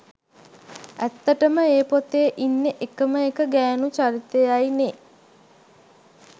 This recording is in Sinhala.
ඇත්තටම ඒ පොතේ ඉන්නෙ එකම එක ගෑණු චරිතයයි නේ